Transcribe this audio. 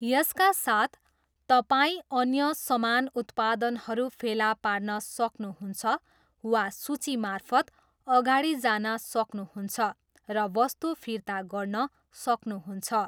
यसका साथ, तपाईँ अन्य समान उत्पादनहरू फेला पार्न सक्नुहुन्छ वा सूचीमार्फत अगाडि जान सक्नुहुन्छ र वस्तु फिर्ता गर्न सक्नुहुन्छ।